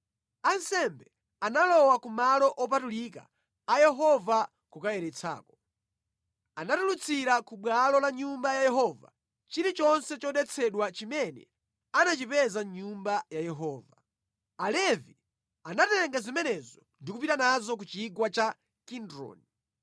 Ansembe analowa ku malo opatulika a Yehova kukayeretsako. Anatulutsira ku bwalo la Nyumba ya Yehova chilichonse chodetsedwa chimene anachipeza mʼNyumba ya Yehova. Alevi anatenga zimenezo ndi kupita nazo ku chigwa cha Kidroni.